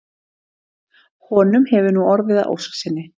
Honum hefur nú orðið að ósk sinni.